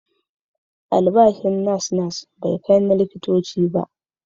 Albashin nas-nas bai kai na likitoci ba.